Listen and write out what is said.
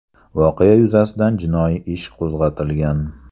Voqea yuzasidan jinoiy ish qo‘zg‘atilgan.